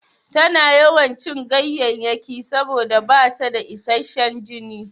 Tana yawan cin ganyayyaki saboda bata da isashshan jini.